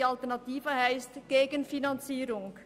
Die Alternative heisst Gegenfinanzierung.